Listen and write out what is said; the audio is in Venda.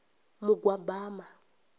mugwabama